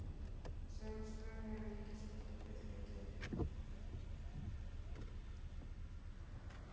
Sömu svör hefur Ríkisútvarpið fengið